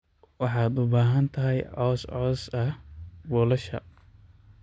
Waxaad u baahan tahay caws caws ah buulasha.